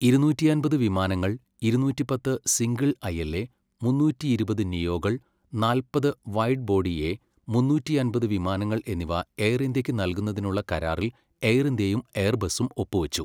ഇരുന്നൂറ്റിയമ്പത് വിമാനങ്ങൾ, ഇരുന്നൂറ്റി പത്ത് സിംഗിൾ ഐൽ എ മുന്നൂറ്റിയിരുപത് നിയോകൾ, നാല്പത് വൈഡ് ബോഡി എ മുന്നൂറ്റിയമ്പത് വിമാനങ്ങൾ എന്നിവ എയർ ഇന്ത്യയ്ക്ക് നൽകുന്നതിനുള്ള കരാറിൽ എയർ ഇന്ത്യയും എയർബസും ഒപ്പുവച്ചു.